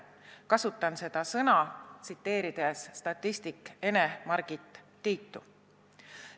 Kasutan seda sõna, tsiteerides statistik Ene-Margit Tiitu.